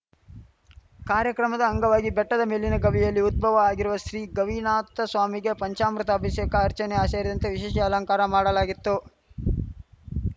ಕಾರ್ಯಕ್ರಮದ ಅಂಗವಾಗಿ ಬೆಟ್ಟದ ಮೇಲಿನ ಗವಿಯಲ್ಲಿ ಉದ್ಭವ ಆಗಿರುವ ಶ್ರೀ ಗವಿನಾಥಸ್ವಾಮಿಗೆ ಪಂಚಾಮೃತ ಅಭಿಷೇಕ ಅರ್ಚನೆ ಸೇರಿದಂತೆ ವಿಶೇಷ ಅಲಂಕಾರ ಮಾಡಲಾಗಿತ್ತು